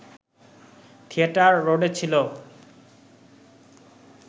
theatre রোডে ছিল